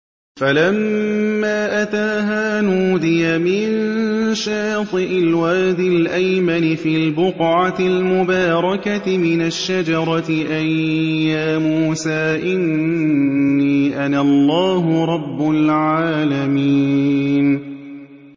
فَلَمَّا أَتَاهَا نُودِيَ مِن شَاطِئِ الْوَادِ الْأَيْمَنِ فِي الْبُقْعَةِ الْمُبَارَكَةِ مِنَ الشَّجَرَةِ أَن يَا مُوسَىٰ إِنِّي أَنَا اللَّهُ رَبُّ الْعَالَمِينَ